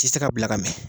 Ti se ka bila ka mɛn